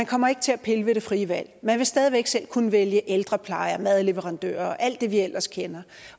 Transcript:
kommer til at pille ved det frie valg man vil stadig væk selv kunne vælge ældrepleje og madleverandør og alt det vi ellers kender